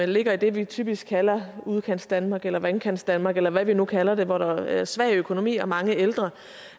ligger i det vi typisk kalder udkantsdanmark eller vandkantsdanmark eller hvad vi nu kalder det hvor der er en svag økonomi og mange ældre